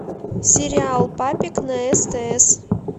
сериал папик на стс